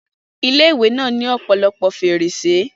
Ilé-ìwé náà ní ọ̀pọ̀lọpọ̀ fèrèsé